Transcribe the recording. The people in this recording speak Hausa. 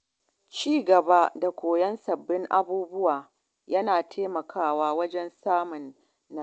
Ci gaba da koyon sabbin abubuwa yana taimakawa wajen samun nasara.